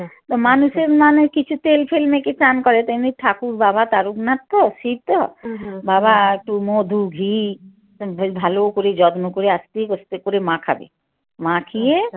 তা মানুষের মানে কিছু তেল ফেল মেখে স্নান করে তেমনি ঠাকুর বাবা তারকনাথ তো শিব তো বাবা একটু মধু ঘি ভালো করে যত্ন করে আস্তে আস্তে করে মাখাবে মাখিয়ে